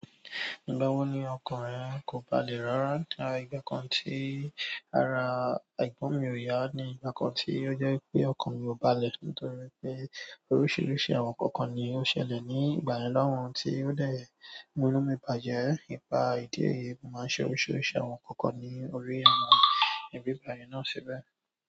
Ìgbà wo ni ọkàn rẹ kò balẹ̀ rárá? Látàrí ọjọ́ kan tí ara ẹ̀gbọ́n mi ò yaa ni ọjọ́ kan tí o jẹ́ wípé ọkàn mi ò balẹ̀, nítorí pé oríṣiríṣi àwọn nkankan ni ó ṣẹlẹ̀ ní ìgbà yẹn loun, tí ó de múnú mi bàjẹ́. Nipà ìdí èyí mo máa ń ṣe oríṣiríṣi àwọn ǹkankan ní orí àwọn íbí ìgbà yẹn náà ṣibẹ̀.